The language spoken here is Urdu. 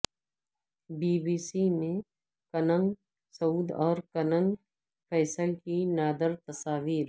بی بی سی میں کنگ سعود اور کنگ فیصل کی نادر تصاویر